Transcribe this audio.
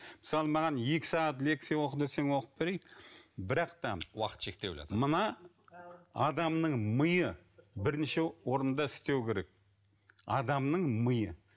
мысалы маған екі сағат лекция оқы десең оқып берейін бірақ та уақыт шектеулі мына адамның миы бірнеше орында істеуі керек адамның миы